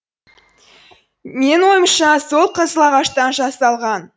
менің ойымша сол қызыл ағаштан жасалған